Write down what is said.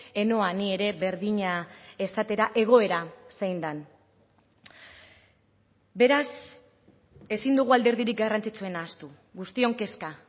ez noa ni ere berdina esatera egoera zein den beraz ezin dugu alderdirik garrantzitsuena ahaztu guztion kezka